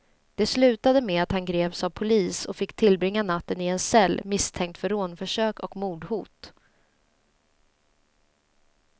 Det slutade med att han greps av polis och fick tillbringa natten i en cell, misstänkt för rånförsök och mordhot.